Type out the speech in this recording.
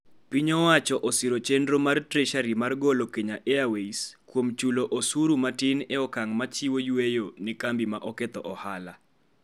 Piny owacho osiro chenro mar Treasury mar golo Kenya Airways (KQ) kuom chulo osuru matin e okang' ma chiwo yueyo ne kambi ma oketho ohala.